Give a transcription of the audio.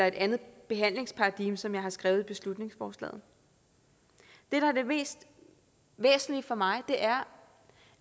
et andet behandlingsparadigme som jeg har skrevet i beslutningsforslaget det der er det mest væsentlige for mig er